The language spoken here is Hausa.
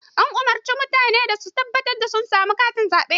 An umurci mutane da su tabbatar sun samu katin zaɓe.